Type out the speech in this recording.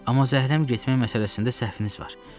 Amma zəhləm getmək məsələsində səhviniz var.